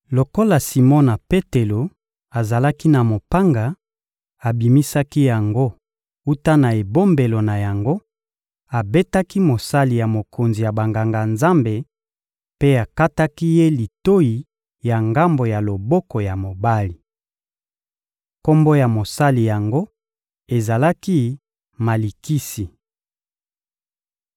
Lokola Simona Petelo azalaki na mopanga, abimisaki yango wuta na ebombelo na yango, abetaki mosali ya mokonzi ya Banganga-Nzambe mpe akataki ye litoyi ya ngambo ya loboko ya mobali. Kombo ya mosali yango ezalaki Malikisi.